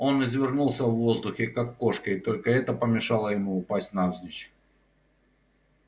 он извернулся в воздухе как кошка и только это помешало ему упасть навзничь